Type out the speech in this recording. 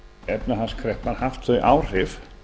efnahagskreppan haft þau áhrif